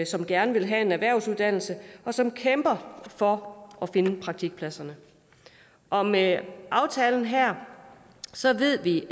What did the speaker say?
som gerne vil have en erhvervsuddannelse og som kæmper for at finde praktikpladserne og med aftalen her ved vi